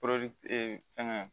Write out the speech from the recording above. fɛngɛ